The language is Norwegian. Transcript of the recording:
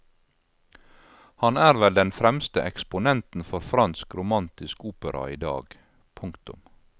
Han er vel den fremste eksponenten for fransk romantisk opera i dag. punktum